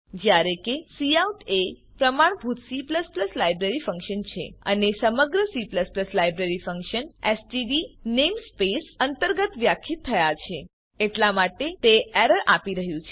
જયારે કે કાઉટ એ પ્રમાણભૂત C લાઈબ્રેરી ફંક્શન છે અને સમગ્ર C library function STD namespace અંતર્ગત વ્યાખ્યિત થયા છે એટલા માટે તે એરર આપી રહ્યું છે